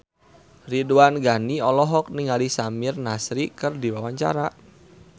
Ridwan Ghani olohok ningali Samir Nasri keur diwawancara